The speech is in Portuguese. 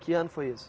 Que ano foi isso?